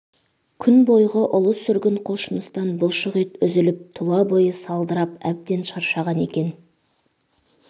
күн бойғы ұлы сүргін құлшыныстан бұлшық ет үзіліп тұла бойы салдырап әбден шаршаған екен